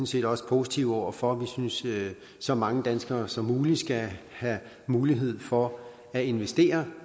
set også positive over for vi synes at så mange danskere som muligt skal have mulighed for at investere